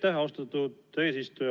Aitäh, austatud eesistuja!